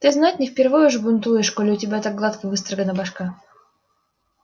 ты знать не впервой уже бунтуешь коли у тебя так гладко выстрогана башка